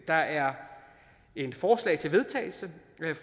der er et forslag til vedtagelse